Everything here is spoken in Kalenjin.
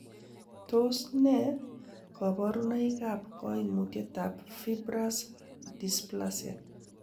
Tos nee koborunoikab koimutietab fibrous dysplasia?